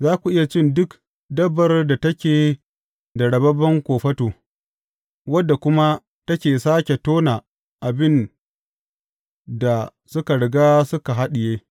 Za ku iya cin duk dabbar da take da rababben kofato, wadda kuma take sāke tona abin da suka riga suka haɗiye.